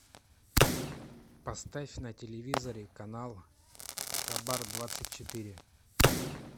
поставь на телевизоре канал хабар двадцать четыре